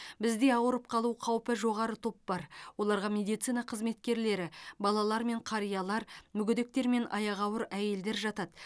бізде ауырып қалу қаупі жоғары топ бар оларға медицина қызметкерлері балалар мен қариялар мүгедектер мен аяғы ауыр әйелдер жатады